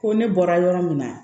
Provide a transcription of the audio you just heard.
Ko ne bɔra yɔrɔ min na